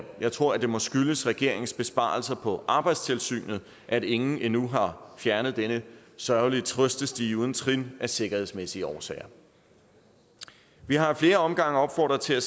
jeg tror det må skyldes regeringens besparelser på arbejdstilsynet at ingen endnu har fjernet denne sørgelige trøstestige uden trin af sikkerhedsmæssige årsager vi har ad flere omgange opfordret til at